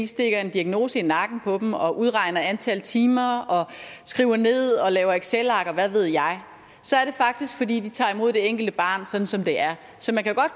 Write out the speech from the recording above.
stikker en diagnose i nakken på dem og udregner antal timer og skriver ned og laver excelark og hvad ved jeg så er det faktisk fordi de tager imod det enkelte barn sådan som det er så man kan godt